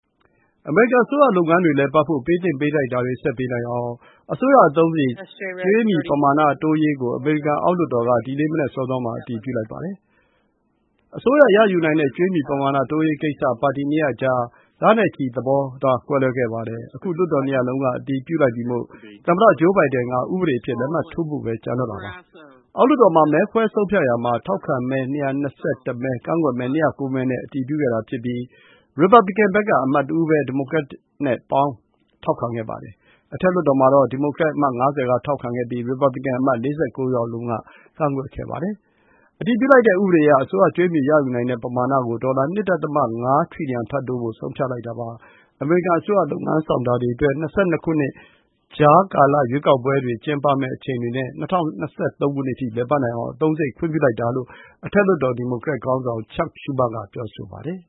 အမေရိကန်အစိုးရလုပ်ငန်းတွေ လည်ပတ်ဖို့ ပေးသင့်ပေးထိုက်တာတွေ ဆက်ပေးနိုင်အောင် အစိုးရအသုံးစရိတ် ကြွေးမြီပမာဏတိုးရေးကို အမေရိကန် အောက်လွှတ်တော်က ဒီနေ့ မနက်စောစောမှာ အတည်ပြုလိုက်ပါတယ်။ အစိုးရ ရယူနိုင်တဲ့ ကြွေးမြီပမာဏတိုးရေးကိစ္စ ပါတီနှစ်ရပ်အကြား လနဲ့ချီ သဘောထားကွဲလွဲခဲ့ပါတယ်။ အခု လွှတ်တော်နှစ်ရပ်စလုံးက အတည်ပြုလိုက်ပြီမို့ သမ္မတ Joe Biden ဥပဒေအဖြစ် လက်မှတ်ထိုးဖို့ပဲ ကျန်ပါတော့တယ်။ အောက်လွှတ်တော်မှာ မဲခွဲ ဆုံးဖြတ်ရာမှာ ထောက်ခံမဲ ၂၂၁ မဲ၊ ကန့်ကွက်မဲ ၂၀၉ မဲနဲ့ အတည်ပြုခဲ့တာဖြစ်ပြီး ရီပတ်ဗလစ်ကန်ဘက်က အမတ်တဦးပဲ ဒီမိုကရက်နဲ့ပေါင်း ထောက်ခံခဲ့ပါတယ်။ အထက်လွှတ်တော်မှာတော့ ဒီမိုကရက် အမတ် ၅၀ က ထောက်ခံပြီး ရီပတ်ဗလစ်ကန် အမတ် ၄၉ ယောက်စလုံးက ကန့်ကွက်ခဲ့ပါတယ်။ အတည်ပြုလိုက်တဲ့ဥပဒေအရ အစိုးရ ကြွေးမြီရယူနိုင်တဲ့ ပမာဏ ကို ဒေါ်လာ ၂ ဒသမ ၅ တြီလျံ ထပ်တိုးဖို့ ဆုံးဖြတ်လိုက်တာပါ။ အမေရိကန် အစိုးရ လုပ်ငန်းဆောင်တာတွေအတွက် ၂၀၂၂ ခုနှစ် ကြားကလ ရွေးကောက်ပွဲတွေ ကျင်းပမယ့်အချိန်တွေနဲ့ ၂၀၂၃ ခုနှစ် အထိ လည်ပတ်နိုင်အောင် အသုံးစရိတ် ခွင့်ပြုလိုက်တာလို့ အထက်လွှတ်တော် ဒီမိုကရက် ခေါင်းဆောင် Chuck Schumer က ပြောဆိုပါတယ်